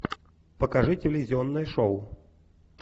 покажи телевизионное шоу